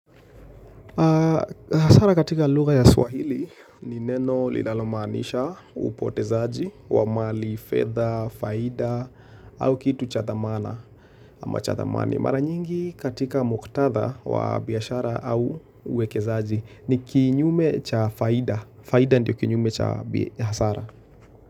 Hasara katika lugha ya swahili ni neno linalomanisha upotezaji wa mali, fedha, faida au kitu cha thamana ama cha thamani. Mara nyingi katika muktatha wa biashara au uwekezaji ni kinyume cha faida. Faida ndio kinyume cha hasara.